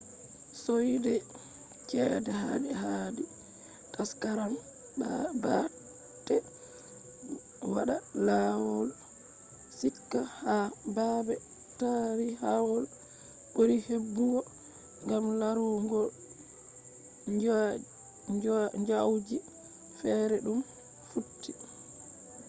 soide chede hadi taskaram baate wada laaw hikka ha baabe taarihawol buri hebugo gam laruugo nyaujiji fere dum futti